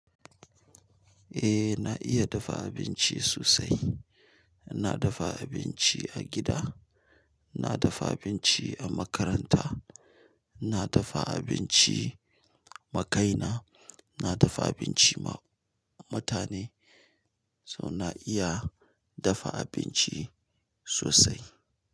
Eh, na iya dafa abinci sosai. Na dafa abinci a gida, na dafa abinci a makaranta, na dafa abinci ma kaina, na dafa abinci ma mutane, so na iya dafa abinci sosai.